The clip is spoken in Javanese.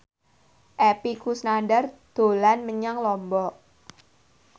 Epy Kusnandar dolan menyang Lombok